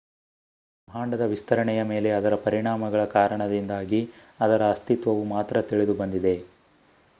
ಬ್ರಹ್ಮಾಂಡದ ವಿಸ್ತರಣೆಯ ಮೇಲೆ ಅದರ ಪರಿಣಾಮಗಳ ಕಾರಣದಿಂದಾಗಿ ಅದರ ಅಸ್ತಿತ್ವವು ಮಾತ್ರ ತಿಳಿದುಬಂದಿದೆ